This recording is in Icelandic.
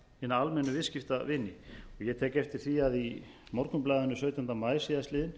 hina almennu viðskiptavini ég tek eftir því að í morgunblaðinu sautjánda maí síðastliðinn